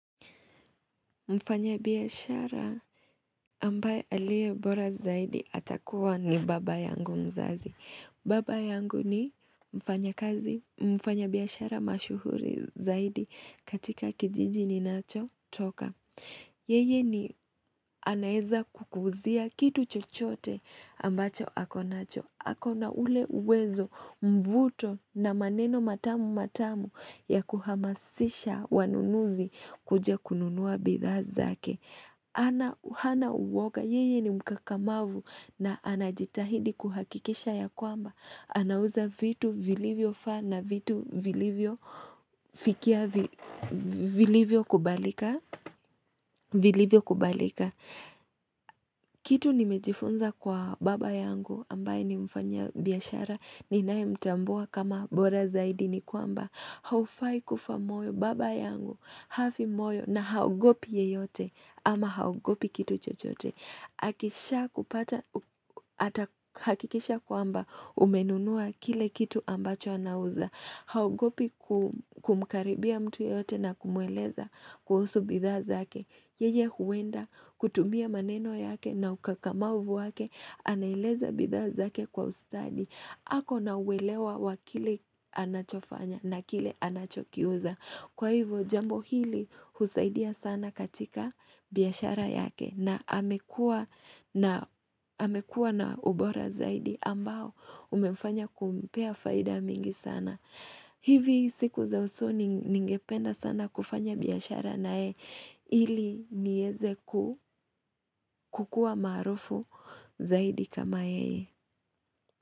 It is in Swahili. Mfanya biashara ambaye aliye bora zaidi atakuwa ni baba yangu mzazi. Baba yangu ni mfanya kazi, mfanya biashara mashuhuri zaidi katika kijiji ninachotoka. Yeye ni anaweza kukuuzia kitu chochote ambacho ako nacho. Ako na ule uwezo, mvuto, na maneno matamu matamu ya kuhamasisha wanunuzi kuja kununua bidhaa zake. Ana hana woga, yeye ni mkakamavu, na anajitahidi kuhakikisha ya kwamba anauza vitu vilivyofaa na vitu vilivyofikia vi, vilivyokubalika, vilivyokubalika. Kitu nimejifunza kwa baba yangu ambaye ni mfanya biashara ninayemtambua kama bora zaidi ni kwamba haufai kufa moyo. Baba yangu hafi moyo na haogopi yeyote ama haogopi kitu chochote. Akishakupa hakikisha kwamba umenunua kile kitu ambacho anauza haogopi ku kumkaribia mtu yeyote na kumweleza kuhusu bidhaa zake. Yeye huenda kutumia maneno yake na ukakamavu wake, anaeleza bidhaa zake kwa ustadi. Ako na uelewa wa kile anachofanya na kile anachokiuza. Kwa hivyo jambo hili husaidia sana katika biashara yake. Na amekuwa amekuwa na ubora zaidi ambao umefanya kumpea faida mingi sana. Hivi siku za usoni ningependa sana kufanya biashara naye ili niweze ku kukuwa maarufu zaidi kama yeye.